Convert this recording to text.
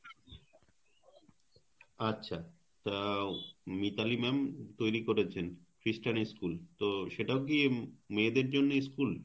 আচ্ছা তা উনি তাহলি ma'am তৈরি করেছেন খ্রিস্টান school তো সেটাও কি উম মেয়েদের জন্য school.